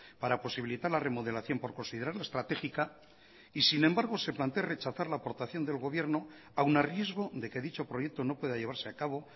para posibilitar la remodelación por considerarla estratégica y sin embargo se plantee rechazar la aportación del gobierno aún a riesgo de que dicho proyecto no pueda llevarse a cabo